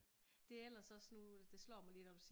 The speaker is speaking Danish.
Det ellers også nu det slår mig lige nu du siger